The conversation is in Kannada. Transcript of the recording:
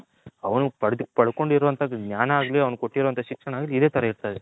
ಅವನು ಪಡ್ಕೊಂದಿರ ಅಂತಂದು ಜ್ಞಾನ ಆಗ್ಲಿ ಅವನಿಗೆ ಕೊಟ್ಟಿರ ಶಿಕ್ಷಣ ಆಗ್ಲಿ ಇದೆ ತರ ಇರ್ತಿತು.